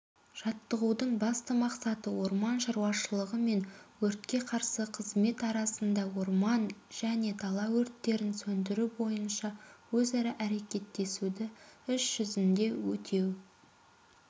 жаттығудың басты мақсаты орман шаруашылығы мен өртке қарсы қызмет арасында орман және дала өрттерін сөндіру бойынша өзара әрекеттесуді іс-жүзінде өтеу